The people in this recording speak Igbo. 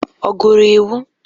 Ọ gụrụ iwu?